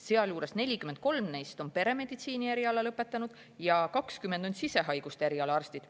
Sealjuures on 43 neist peremeditsiini eriala lõpetanud ja 20 on sisehaiguste eriala arstid.